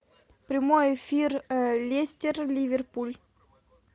прямой эфир лестер ливерпуль